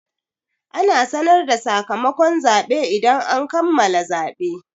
Ana sanar da sakamakon zaɓe idan an kammala zaɓe.